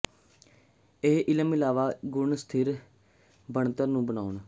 ਇਹ ਇਲਮ ਇਲਾਵਾ ਇੱਕ ਗੁਣ ਸਥਿਰ ਬਣਤਰ ਨੂੰ ਬਣਾਉਣ